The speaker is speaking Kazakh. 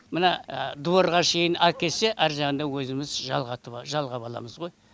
мына дворға шейін әкелсе ар жағында өзіміз жалғап аламыз ғой